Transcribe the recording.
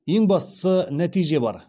ең бастысы нәтиже бар